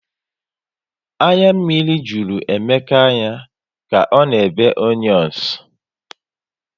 Anya mmiri jụrụ Emeka anya ka ọ na ebe onions